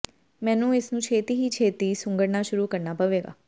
ਮੈਨੂੰ ਇਸਨੂੰ ਛੇਤੀ ਹੀ ਛੇਤੀ ਸੁੰਗੜਨਾ ਸ਼ੁਰੂ ਕਰਨਾ ਪਵੇਗਾ